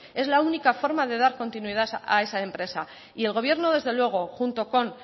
es la única forma de dar continuidad a esa empresa y el gobierno desde luego junto con